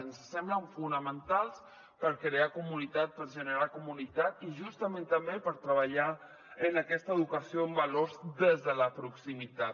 ens semblen fonamentals per crear comunitat per generar comunitat i justament també per treballar en aquesta educació en valors des de la proximitat